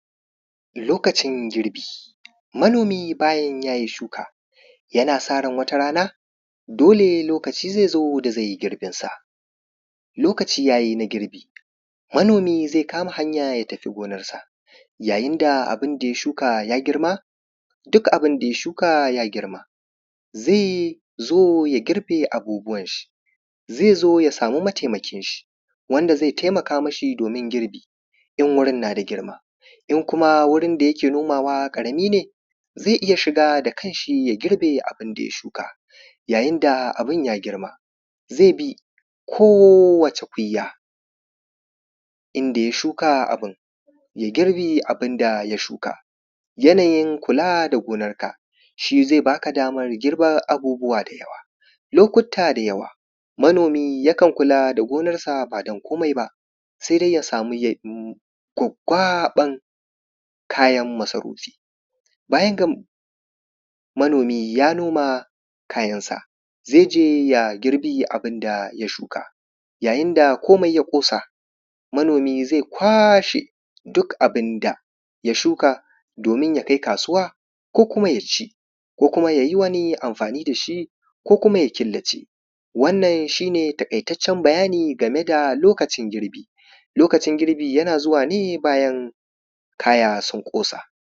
lokacin girbi manomi bayan yayi shuka yana sa ran watarana dole lokaci zai zo da zai yi girbin sa lokaci yayi na girbi manomi zai kama hanya ya tafi gonar sa yayin da abun da ya shuka ya girma duk abun da ya shuka ya girma zai zo ya girbe abubuwan shi zai zo ya samu mataimakin shi wanda zai taimaka mishi domin girbi in wurin na da girma in kuma wurin da yake nomawa ƙarami ne zai iya shiga da kan shi ya girbe abun da ya shuka yayin da abun ya girma zai bi kowacce kunya inda ya shuka abun ya girbi abun da ya shuka yanayin kula da gonar ka shi zai baka damar girbar abubuwa da yawa lokuta da yawa manomi yakan kula da gonar sa ba don komai ba sai don ya samu gwaggwaɓar kayan masarufi bayan manomi ya noma kayan sa zai je ya girbi abun da ya shuka yayin da komai ya kosa manomi zai kwashe kayan sa duk abun da ya shuka domin ya kai kasuwa ko kuma yaci ko kuma yayi wani amfani dashi ko kuma ya killace wannan shi ne taƙaitaccen bayani akan lokacin girbi lokacin girbi yana zuwa ne bayan